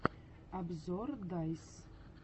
обзор дайс